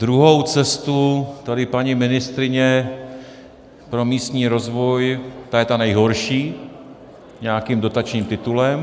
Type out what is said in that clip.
Druhou cestu tady paní ministryně pro místní rozvoj - ta je ta nejhorší, nějakým dotačním titulem.